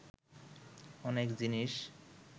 অনেক জিনিস